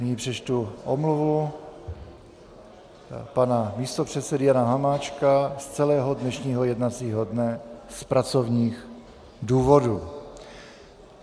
Nyní přečtu omluvu pana místopředsedy Jana Hamáčka z celého dnešního jednacího dne z pracovních důvodů.